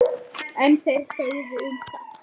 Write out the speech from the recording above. En þeir þögðu um það.